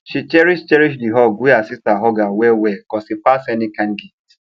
she cherish cherish the hug wey her sister hug her well well cos e pass any kind gift